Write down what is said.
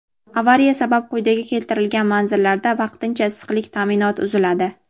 Avariya sabab quyida keltirilgan manzillarda vaqtincha issiqlik ta’minoti uziladi.